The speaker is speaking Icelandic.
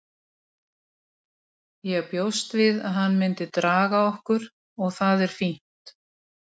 Ég bjóst við að hann myndi draga okkur og það er fínt.